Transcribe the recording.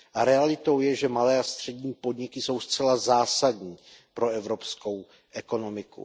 A realitou je, že malé a střední podniky jsou zcela zásadní pro evropskou ekonomiku.